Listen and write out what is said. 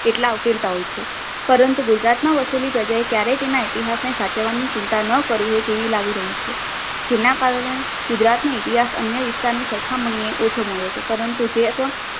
કેટલાક ઉકેલતાઓ છે પરંતુ ગુજરાતમાં વસેલી પ્રજાએ ક્યારેય તેના ઇતિહાસને સાચવવાની ચિંતા ન કરી હોય તેવી લાગે રહી છું. જેના કારણે ગુજરાતના ઇતિહાસ અન્ય વિસ્તારની સરખામણીએ ઓછો મળ્યો છે. પરંતુ જે પણ